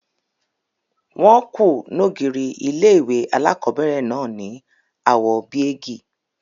Wọ́n ku n ògiri ilé-ìwé alákobẹ̀rẹ̀ náà ní àwò bíégì